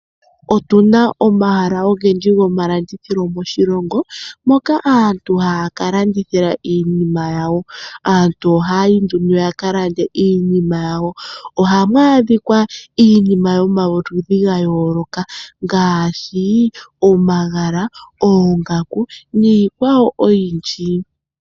Otuna omahala ogendji goma landithilo moshilongo, moka aantu haya ka landithila iinima yawo. Aantu ohaya ningi nduno yaka lande iinima yawo. Ohamu adhika iinima yomaludhi ga yooloka ngaashi omagala, oongaku niikwawo oyindji.